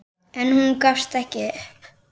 En hún gafst ekki upp.